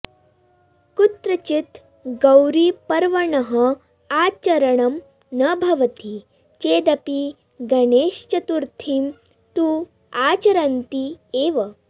कुत्रचित् गौरीपर्वणः आचरणं न भवति चेदपि गणेशचतुर्थीं तु आचरन्ति एव